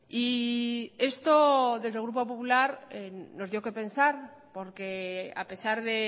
y esto desde el grupo popular nos dio qué pensar porque a pesar de